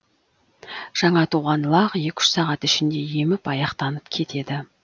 жаңа туған лақ екі үш сағат ішінде еміп аяқтанып кетеді